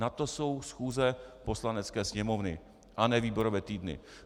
Na to jsou schůze Poslanecké sněmovny a ne výborové týdny.